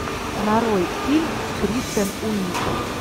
нарой фильм с кристен уиг